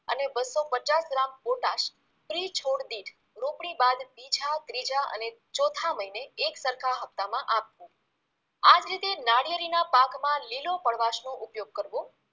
અને બસો પચાસ ગ્રામ પોટાશ પ્રિ છોડ દિઠ રોપણી બાદ બીજા ત્રીજા અને ચોથા મહિને એક સરખા હપ્તામાં આપવુ આ જ રીતે નાળિયેરી ના પાકમાં લીલો કડવાશનો ઉપયોગ કરવો